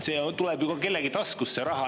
See raha tuleb kellegi taskust.